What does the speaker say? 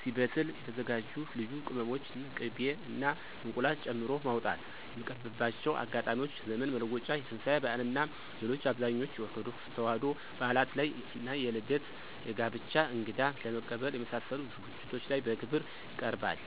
ሲበስል የተዘጋጁ ልዩ ቅመሞችን፣ ቂቤ እና እንቁላል ጨምሮ ማውጣት። የሚቀርብባቸው አጋጣሚዎች ዘመን መለወጫ፣ የትንሳኤ በዓል እና ሌሎች አብዛኞቹ የኦርቶዶክስ ተዋሕዶ በዓላት ላይ እና የልደት፣ የጋብቻ፣ እንግዳ ለመቀበል የመሳሰሉት ዝግጅቶች ላይ በክብር ይቀርባል።